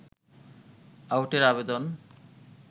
আউটের আবেদন